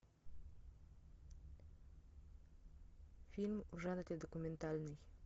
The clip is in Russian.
фильм в жанре документальный